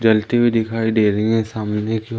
जलती हुए दिखाई दे रही है सामने की--